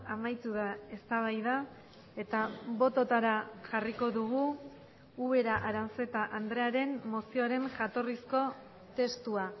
amaitu da eztabaida eta bototara jarriko dugu ubera aranzeta andrearen mozioaren jatorrizko testua